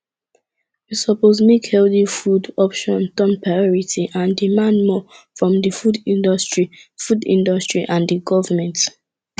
we suppose make healthy food option turn priority and demand more from di food industry food industry and di government